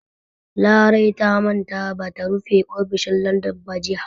Larai ta manta ba ta rufe ofishin Ladan ba jiya.